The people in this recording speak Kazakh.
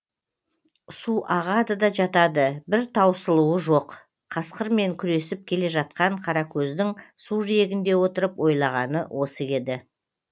су ағады да жатады бір таусылуы жоқ қасқырмен күресіп келе жатқан қаракөздің су жиегінде отырып ойлағаны осы еді